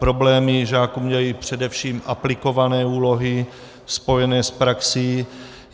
Problémy žákům dělají především aplikované úlohy spojené s praxí.